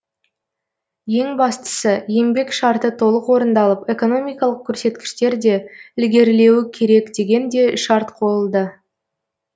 ең бастысы еңбек шарты толық орындалып экономикалық көрсеткіштер де ілгерілеуі керек деген де шарт қойылды